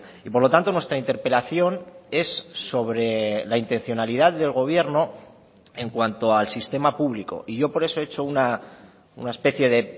y por lo tanto nuestra interpelación es sobre la intencionalidad del gobierno en cuanto al sistema público y yo por eso he hecho una especie de